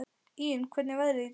Íunn, hvernig er veðrið í dag?